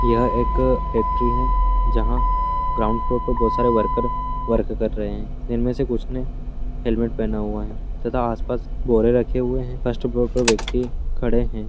यह एक फैक्ट्री है जहाँ ग्राउंड फ्लोर पर बहोत सारे वर्कर्स वर्क कर रहे हैं। इनमें से कुछ ने हेलमेट पहना हुआ है तथा आस-पास बोरे रखे हुए हैं। फर्स्ट फ्लोर पर व्यक्ति खड़े हैं।